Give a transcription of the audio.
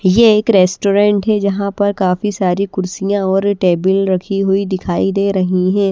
ये एक रेस्टोरेंट है जहां पर काफी सारी कुर्सियां और टेबल रखी हुई दिखाई दे रही है।